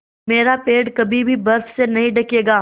मेरा पेड़ कभी भी बर्फ़ से नहीं ढकेगा